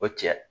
O tigɛ